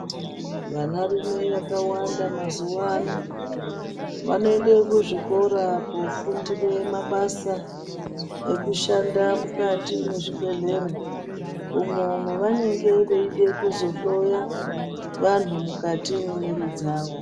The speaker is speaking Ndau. Vanarume vakawanda mazuvano. Vanoyende kuzvikora kofundire mabasa ekushanda mukati mezvibhedhlere. Umwe, umwe vanenge veyide kuzohloya vanhu mukati memwiri dzawo.